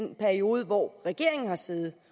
den periode hvor regeringen har siddet